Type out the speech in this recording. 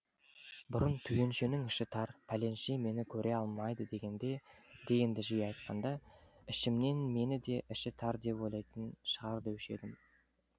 бұрын түгеншенің іші тар пәленше мені көре алмайды дегенді жиі айтқанда ішімнен мені де іші тар деп ойлайтын шығар деуші едім